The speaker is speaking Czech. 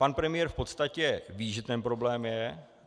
Pan premiér v podstatě ví, že ten problém je.